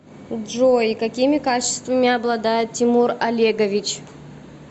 джой какими качествами обладает тимур олегович